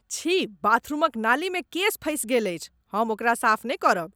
छी! बाथरूमक नाली मे केश फँसि गेल अछि। हम ओकरा साफ नहि करब।